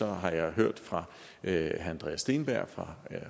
har jeg hørt fra herre andreas steenberg